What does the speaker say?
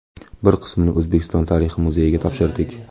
Bir qismini O‘zbekiston tarixi muzeyiga topshirdik.